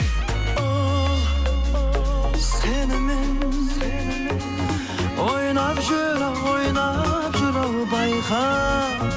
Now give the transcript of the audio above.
ол сенімен ойнап жүр ау ойнап жүр ау байқа